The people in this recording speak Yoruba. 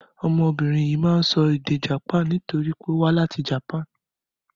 Ọmọbìnrin yìí máa ń sọ èdè Japan nítorí ó wá láti Japan.